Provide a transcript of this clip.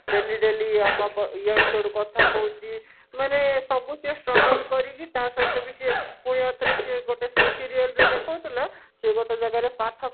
daily daily ଇଆଡୁ ସିଆଡୁ କଥା କହୁଛି ମାନେ ସବୁଥିରେ struggle କରିକି ତା ସହିତ ବି ସିଏ ପୁଣି ଆଉ ଥରେ ସିଏ ଗୋଟେ ସେ serial ରେ ଦେଖଉଥିଲା ସିଏ ଗୋଟେ ଜାଗା ରେ ପାଠ